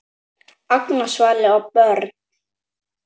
Agnar, Svala og börn.